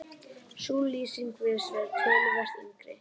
Sú lýsing virðist vera töluvert yngri.